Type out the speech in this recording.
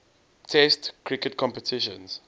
test cricket competitions